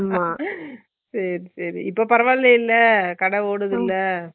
இது straight அ நம்ம plus two படிக்கலாமா